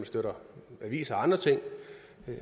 aviser og andre ting